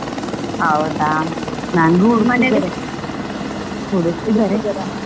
ಹೌದಾ, ನಂಗೂ ಹುಡುಕ್ತಾ ಇದ್ದಾರೆ ಹುಡುಕ್ತಾ ಇದ್ದಾರೆ.